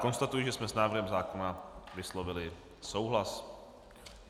Konstatuji, že jsme s návrhem zákona vyslovili souhlas.